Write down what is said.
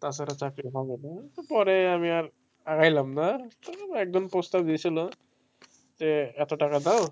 তাছাড়া চাকরি হবে ও না, পরে আমি আর আগাইলাম না একজন প্রস্তাব দিয়েছিলো যে এত টাকা দাও.